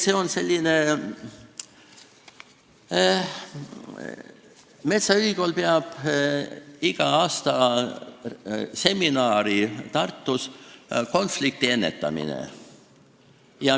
Metsaülikool peab iga aasta Tartus seminari konfliktiennetamise teemal.